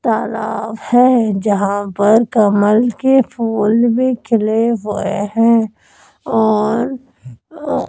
तालाब है जहां पर कमल के फूल भी खिले हुए हैं और अ--